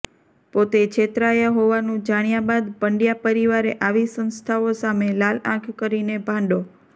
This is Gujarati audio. પોતે છેતરાયા હોવાનુ જાણ્યા બાદ પંડ્યા પરિવારે આવી સંસ્થાઓ સામે લાલઆંખ કરીને ભાંડો